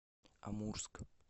амурск